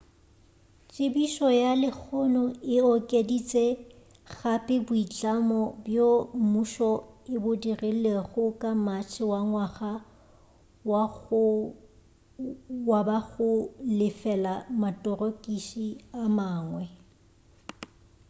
tsebišo ya lehono e okeditše gape boitlamo bjo mmušo e bo dirilego ka matšhe wa ngwaga wo ba go lefela matorokisi a mangwe